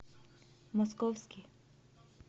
московский